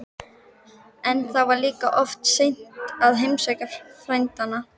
En þá var líka alltof seint að heimsækja frændann.